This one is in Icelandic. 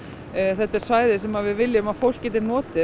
þetta er svæði sem við viljum að fólk geti notið